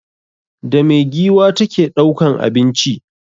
Da me giwa ta ke ɗaukan abinci?